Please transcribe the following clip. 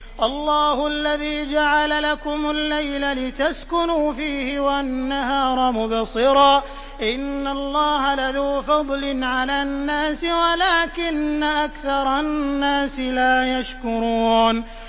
اللَّهُ الَّذِي جَعَلَ لَكُمُ اللَّيْلَ لِتَسْكُنُوا فِيهِ وَالنَّهَارَ مُبْصِرًا ۚ إِنَّ اللَّهَ لَذُو فَضْلٍ عَلَى النَّاسِ وَلَٰكِنَّ أَكْثَرَ النَّاسِ لَا يَشْكُرُونَ